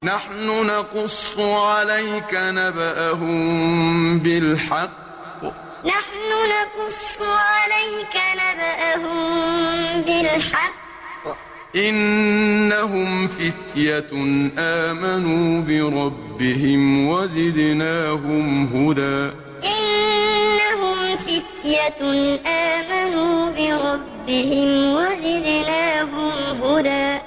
نَّحْنُ نَقُصُّ عَلَيْكَ نَبَأَهُم بِالْحَقِّ ۚ إِنَّهُمْ فِتْيَةٌ آمَنُوا بِرَبِّهِمْ وَزِدْنَاهُمْ هُدًى نَّحْنُ نَقُصُّ عَلَيْكَ نَبَأَهُم بِالْحَقِّ ۚ إِنَّهُمْ فِتْيَةٌ آمَنُوا بِرَبِّهِمْ وَزِدْنَاهُمْ هُدًى